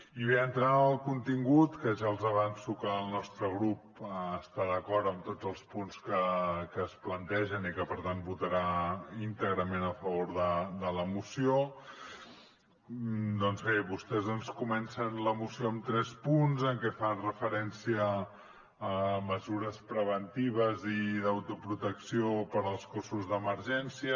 i bé entrant en el contingut que ja els avanço que el nostre grup està d’acord amb tots els punts que es plantegen i que per tant votarà íntegrament a favor de la moció doncs bé vostès ens comencen la moció amb tres punts en què fan referència a mesures preventives i d’autoprotecció per als cossos d’emergència